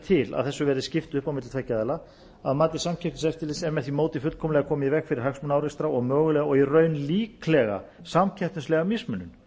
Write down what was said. til að þessu verði skipt upp á milli tveggja aðila að mati samkeppniseftirlitsins er með því móti fullkomlega komið í veg fyrir hagsmunaárekstra og mögulega og í raun líklega samkeppnislega mismunun